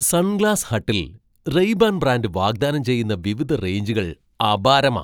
Sunglass ഹട്ടിൽ Ray Ban brand വാഗ്ദാനം ചെയ്യുന്ന വിവിധ റേഞ്ചുകൾ അപാരമാ.